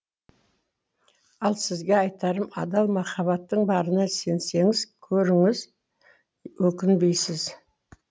ал сізге айтарым адал махаббатың барына сенсеңіз көріңіз өкінбейсіз